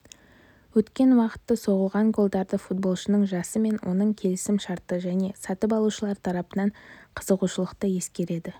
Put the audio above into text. өткен уақытты соғылған голдарды футболшының жасы мен оның келісім-шарты және сатып алушылар тарапынан қызығушылықты ескереді